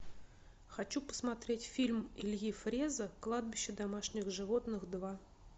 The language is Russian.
хочу посмотреть фильм ильи фреза кладбище домашних животных два